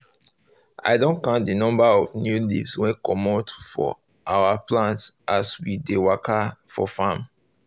i don count the number of new leaves wey comot for our plant as we dey waka for farm